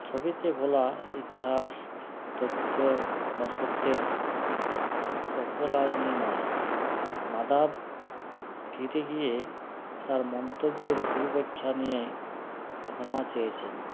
ছবিতে বলা ইতিহাস তথ্য বা সত্যের অপলাল নিয়ে নয় নাদাব খিঠে গিয়ে তার মন্তব্যের ভুল ব্যাইখ্যা নিয়ে ক্ষমা চেয়েছেন